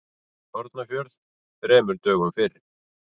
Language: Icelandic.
Hornafjörð þremur dögum fyrr.